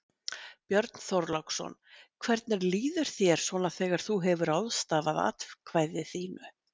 Björn Þorláksson: Hvernig líður þér svona þegar þú hefur ráðstafað atkvæði þínu?